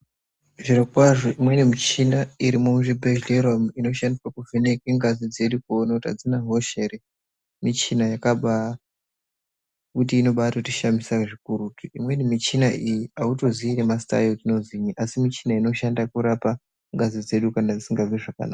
Zvirokwazvo imweni michina iri muzvibhedhlera umu inoshandiswa kuvheneke ngazi dzedu kuona kuti adzina hosha ere michina yakaba kuti inobatotishamisa zvikurutu imweni michina iyi hautozii nemazita ayo kuti inozinyi asi michina inoshandiswa kurapa ngazi dzedu kana dzisingazwi zvakanaka.